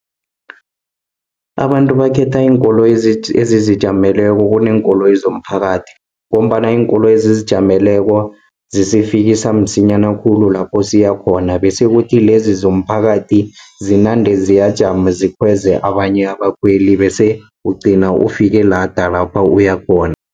Abantu bakhetha iinkoloyi ezizijameleko kuneenkoloyi zomphakathi, ngombana iinkoloyi ezizijameleko zisifikisa msinyana khulu, lapho siyakhona, bese kuthi lezi zomphakathi zinande ziyajama, zikhweze abanye abakhweli, bese ugcina ufike lada lapha uyakhona.